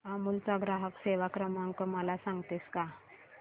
अमूल चा ग्राहक सेवा क्रमांक मला सांगतेस का